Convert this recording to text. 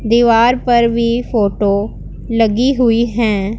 दीवार पर भी फोटो लगी हुई हैं।